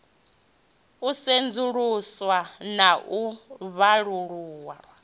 u sedzuluswa na u vhalululwa